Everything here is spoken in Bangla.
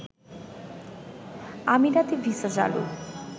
আমিরাতে ভিসা চালু